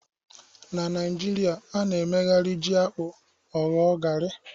Na Naijiria, a na-emegharị ji-akpu ọ wụọ garri.